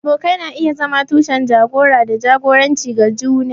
Abokai na iya zama tushen jagora da jagoranci ga juna.